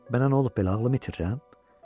Mənə nə olub belə, ağlımı itirirəm?